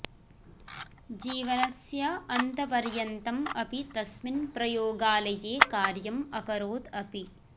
जीवनस्य अन्तपर्यन्तम् अपि तस्मिन् प्रयोगालये कार्यम् अकरोत् अपि